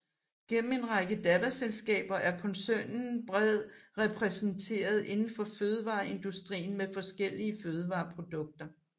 Gennem en række datterselskaber er koncernen bred repræsenteret indenfor fødevareindustrien med forskellige fødevareprodukter